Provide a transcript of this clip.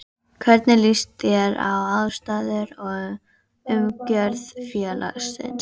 Hvernig líst þér á aðstæður og umgjörð félagsins?